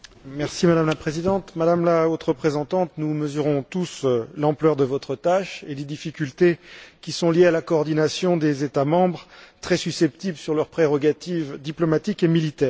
Madame la Présidente, Madame la Haute représentante, nous mesurons tous l'ampleur de votre tâche et les difficultés qui sont liées à la coordination des États membres, très susceptibles sur leurs prérogatives diplomatiques et militaires.